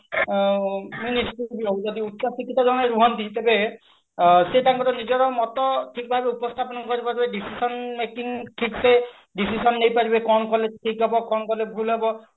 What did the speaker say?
ଆଁ ଯଦି ଉଚ୍ଚ ଶିକ୍ଷିତ ଜଣେ ରୁହନ୍ତି ତେବେ ଆଁ ସେ ତାଙ୍କର ନିଜର ମତ ଉପସ୍ଥାପନ କରି ପାରୁଥିବେ decision making ଠିକସେ decision ନେଇ ପାରିବେ କଣ କଲେ ଠିକ ହବ କଣ କଲେ ଭୁଲ ହବ